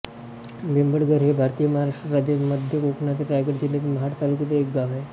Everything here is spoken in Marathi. बेबळघर हे भारतातील महाराष्ट्र राज्यातील मध्य कोकणातील रायगड जिल्ह्यातील महाड तालुक्यातील एक गाव आहे